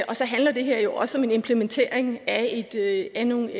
og så handler det her jo også om en implementering af nogle